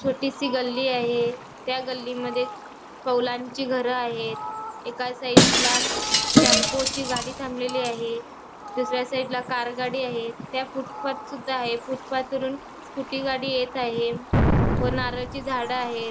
छोटीसी गल्ली आहे गल्लीमध्ये कौलांची घर आहेत एका साईड ला टेम्पो ची गाडी थांबलेली आहे दुसऱ्या साईड ला कार गाडी आहे त्या फूटपाथ सुद्धा आहे फूटपाथवरून स्कुटी गाडी येत आहे व नारळाची झाडे आहेत.